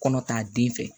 Kɔnɔ k'a den fɛ